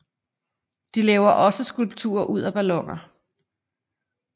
De laver også skulpturer ud af balloner